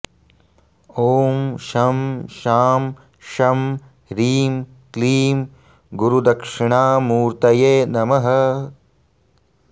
ॐ शं शां षं ह्रीं क्लीं गुरुदक्षिणामूर्तये नमः